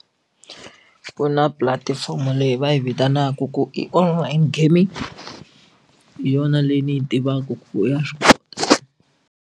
Ku na pulatifomo leyi va yi vitanaka ku i kwalano online gaming hi yona leyi ni yi tivaka ku ya swi kota.